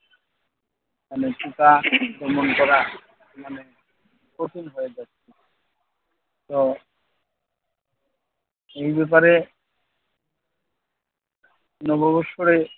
মানে পোকা দমন করা মানে কঠিন হয়ে যাচ্ছে। তো এই ব্যাপারে নববৎসরে